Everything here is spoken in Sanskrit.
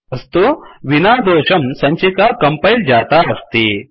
अस्तु विनादोषं सञ्चिका कंपैल जाता अस्ति